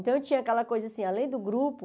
Então eu tinha aquela coisa assim, além do grupo...